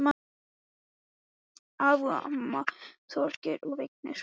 Þóra Kristín Ásgeirsdóttir: Hvað kom upp á?